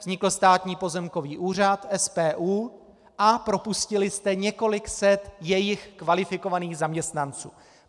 Vznikl Státní pozemkový úřad, SPÚ, a propustili jste několik set jejich kvalifikovaných zaměstnanců.